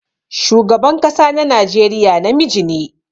Shugaban kasa na Najeriya na miji ne.